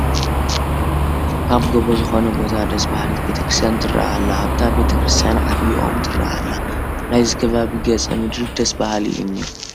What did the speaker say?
ኣብ ጎቦ ዝኾነ ቦታ ደስ በሃሊት ቤተ ክርስቲያን ትርአ ኣላ፡፡ ኣብታ ቤተ ክርስቲያን ዓባይ ኦም ትርአ ኣላ፡፡ ናይዚ ከባቢ ገፀ ምድሪ ደስ በሃሊ እዩ እኒሀ፡፡